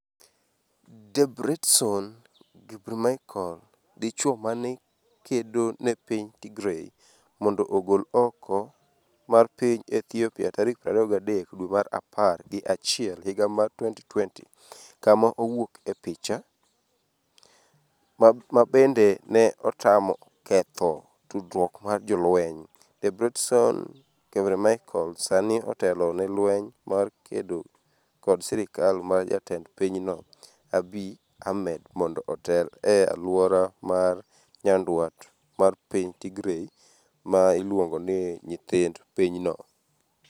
Debretsion Gebremichael, dichuo mane kedo ne piny Tigray mondo ogol oko mar piny Ethiopia tarik 23 dwe mar apar gi achiel higa mar 2020 Kama owuok e picha, mabende ne temo ketho tudruok mar jolweny, Debretsion Gebremichael sani otelo ne lweny mar kedp kod sirikal mar jatend pinyno, Abiy Ahmed mondo otel e alwora ma nyandwat mar piny Tigray, ma iluongo ni “nyithind” pinyno.